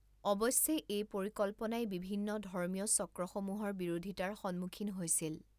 অৱশ্যে এই পৰিকল্পনাই বিভিন্ন ধৰ্মীয় চক্ৰসমূহৰ বিৰোধিতাৰ সন্মুখীন হৈছিল।